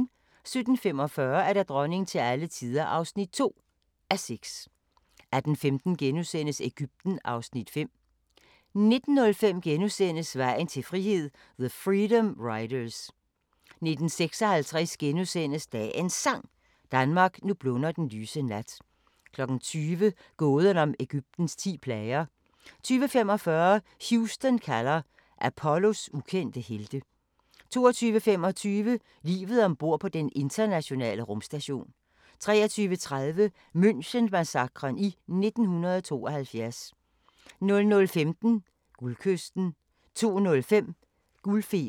17:45: Dronning til alle tider (2:6) 18:15: Egypten (Afs. 5)* 19:05: Vejen til frihed – the freedom riders * 19:56: Dagens Sang: Danmark, nu blunder den lyse nat * 20:00: Gåden om Egyptens ti plager 20:45: Houston kalder – Apollos ukendte helte 22:25: Livet om bord på Den internationale Rumstation 23:30: München-massakren i 1972 00:15: Guldkysten 02:05: Guldfeber